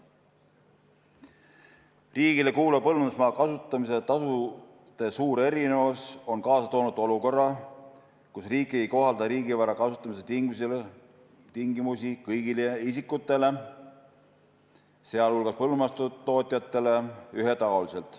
Riigile kuuluva põllumajandusmaa kasutamise tasude suur erinevus on kaasa toonud olukorra, kus riik ei kohalda riigivara kasutamise tingimusi kõigile isikutele, sh põllumajandustootjatele ühetaoliselt.